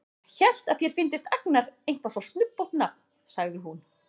Ég hélt að þér fyndist Agnar eitthvað svo snubbótt nafn, sagði hún.